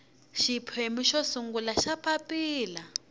xiphemu xo sungula xa papilla